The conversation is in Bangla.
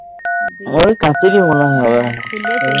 ওই কাচেরই মনেহয় হবে